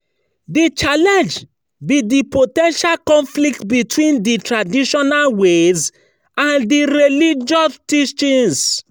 di challenge be di po ten tial conflict between di traditional ways and di religious teachings.